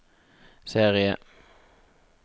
serie